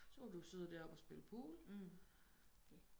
Så kunne du jo sidde der oppe og spille pool